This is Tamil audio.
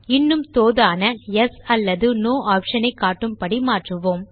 இன்னும் தோதான யெஸ் அல்லது நோ ஆப்ஷன் ஐ காட்டும்படி மாற்றுவோம்